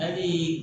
Hali